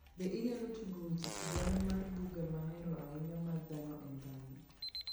be inyalo tugo weche sigana mar buga mahero ahinya mar dhano en dhano